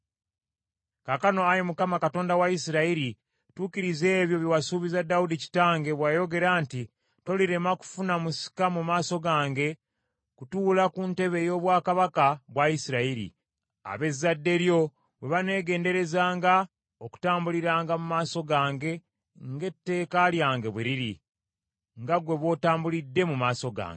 “Kaakano Ayi Mukama Katonda wa Isirayiri, tuukiriza ebyo bye wasuubiza Dawudi kitange bwe wayogera nti, ‘Tolirema kufuna musika mu maaso gange kutuula ku ntebe ey’obwakabaka bwa Isirayiri, ab’ezzadde lyo bwe baneegenderezanga okutambuliranga mu maaso gange ng’etteeka lyange bwe liri, nga ggwe bw’otambulidde mu maaso gange.’